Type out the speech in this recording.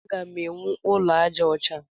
Agam ewu ụlọ aja ọcha.